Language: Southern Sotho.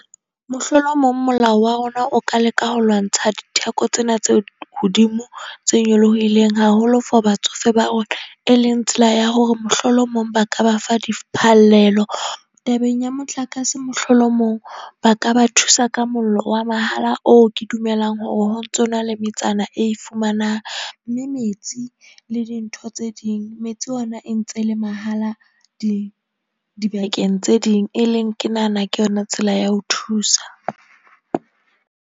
Mohlolomong molao wa rona o ka leka ho lwantsha ditheko tsena tse hodimo, tse nyolohileng haholo for batsofe ba rona. E leng tsela ya hore mohlolomong ba ka ba fa diphallelo. Tabeng ya motlakase mohlolomong ba ka ba thusa ka mollo wa mahala oo ke dumelang hore ho ntsona le metsana e ifumanang. Mme metsi le dintho tse ding, metsi ona e ntse le mahala di dibakeng tse ding, e leng ke nahana ke yona tsela ya ho thusa.